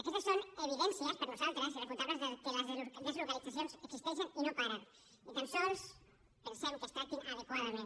aquestes són evidències per nosaltres irrefutables que les deslocalitzacions existeixen i no paren ni tan sols pensem que es tractin adequadament